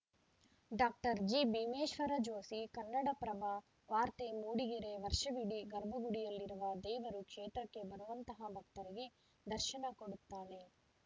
doctor ಜಿಭೀಮೇಶ್ವರ ಜೋಷಿ ಕನ್ನಡಪ್ರಭ ವಾರ್ತೆ ಮೂಡಿಗೆರೆ ವರ್ಷವಿಡಿ ಗರ್ಭಗುಡಿಯಲ್ಲಿರುವ ದೇವರು ಕ್ಷೇತ್ರಕ್ಕೆ ಬರುವಂತಹ ಭಕ್ತರಿಗೆ ದರ್ಶನ ಕೊಡುತ್ತಾಳೆ